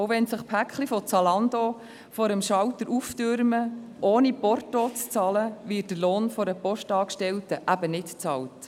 Auch wenn sich die Pakete von Zalando vor dem Schalter auftürmen: Ohne Porto zu bezahlen, wird der Lohn einer Postangestellten eben nicht bezahlt.